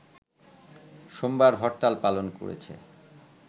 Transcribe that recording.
সোমবার হরতাল পালন করেছে